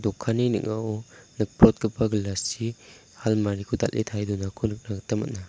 dokanni ning·ao nikprotgipa gilas chi halmari ko dal·e tarie donako nikna gita man·a.